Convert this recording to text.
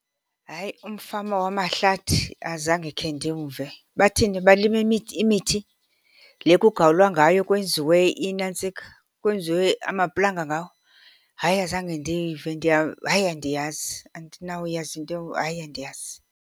Hayi, umfama wamahlathi azange khe ndimve. Bathini, balima imithi le kugawulwa ngayo kwenziwe inantsika, kwenziwe amaplanga ngawo? Hayi azange ndiyive . Hayi andiyazi, andinawuyazi , hayi andiyazi.